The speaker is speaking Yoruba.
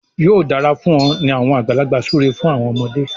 yóò dára fún ọ ni awọn àgbàlagbà súré fún àwọn ọmọde.